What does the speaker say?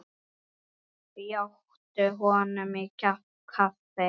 Bjóddu honum inn í kaffi.